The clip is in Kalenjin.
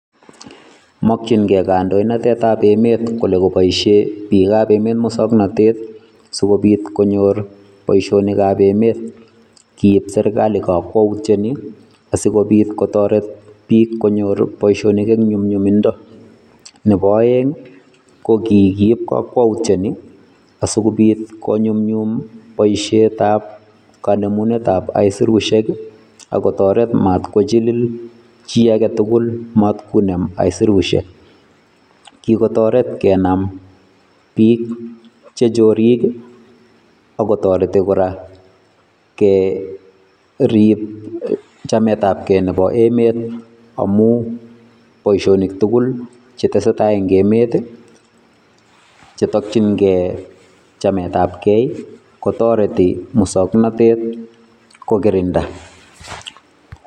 Mokchinkei kandoinatetap emet kole kopoishe biikab emet mosoknotet sikobit konyor boishonikap emet. Kiib serikali kakwoutyoni asikobit kotoret biik konyor boishonik eng nyumnyumindo. Nepo oeng ko kikiip kakwoutyoni asikobit konyumnyum boishetap kanemunetap aisurushek, ak kotoret mat kochilil chi aketukul matkunem aisurushek. Kikotoret kenam biik chechorik, akotoreti kora korip chametapkei nepo emet amu boishonik tukul chetesetai eng emet chetokchinkei chametapkei, kotoreti musoknotet kokirinda.